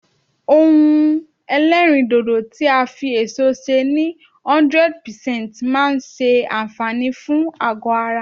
ohun elerindodo ti a fi eso se ni 100% maa n se anfaani fun ago ara